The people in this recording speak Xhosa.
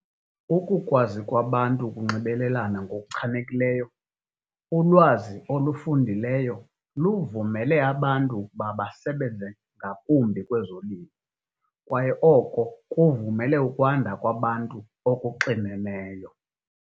Ukukwazi kwabantu ukunxibelelana ngokuchanekileyo, ulwazi olufundileyo luvumele abantu ukuba basebenze ngakumbi kwezolimo, kwaye oko kuvumele ukwanda kwabantu okuxineneyo.